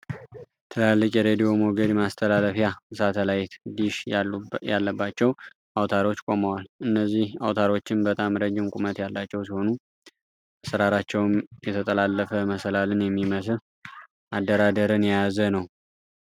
ትላልቅ የረዲዮ ሞገድ ማስተላለፊያ ሳተላይት ዲሽ ያሉባቸው አውታሮች ቆመዋል። እነዚህ አውታሮችም በጣም ረጅም ቁመት ያላቸው ሲሆኑ አሰራራቸውም የተጠላለፈ መሰላልን የሚመስል አደራደርን የያዘ ነው።